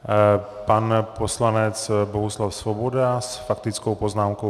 Pan poslanec Bohuslav Svoboda s faktickou poznámkou.